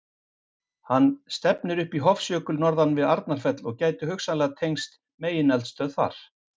Hann stefnir upp í Hofsjökul norðan við Arnarfell og gæti hugsanlega tengst megineldstöð þar.